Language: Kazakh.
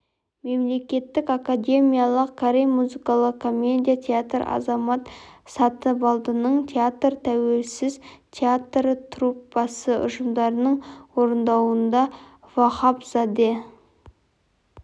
мемлекеттік академиялық корей музыкалық комедия театры азамат сатыбалдының театры тәуелсіз театр труппасы ұжымдарының орындауында вахапзаде